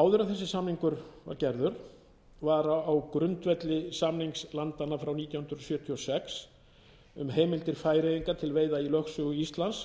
áður en þessi samningur var gerður var á grundvelli samnings landanna frá nítján hundruð sjötíu og sex um heimildir færeyinga til veiða í lögsögu íslands